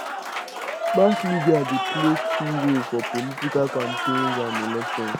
mass media dey play key role for political campaigns and elections